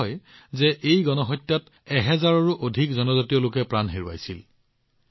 কোৱা হয় যে এই গণহত্যাত এহেজাৰৰো অধিক জনজাতীয় লোকে প্ৰাণ হেৰুৱাইছিল